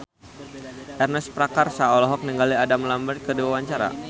Ernest Prakasa olohok ningali Adam Lambert keur diwawancara